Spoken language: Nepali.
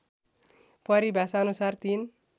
परिभाषाअनुसार ३